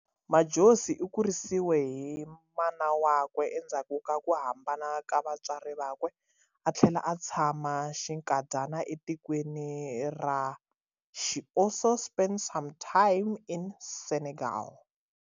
Madjozi u kurisiwe hi mana wakwe, endzhaku ka ku hambana ka vatswari vakwe. Uthlele a tshama xinkadyana e tikweni ra She also spent some time in Senegal.